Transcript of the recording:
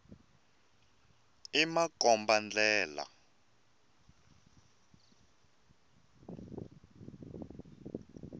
i makomba ndlela